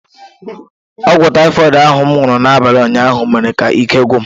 Ọgwụ taịfọid ahụ m nụrụ n’abalị ụnyaahụ mere ka ike gwụ m.